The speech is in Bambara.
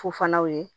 Fu fanaw ye